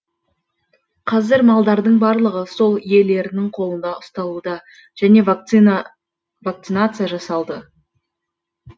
қазір малдардың барлығы сол иелерінің қолында ұсталуда және вакцинация жасалды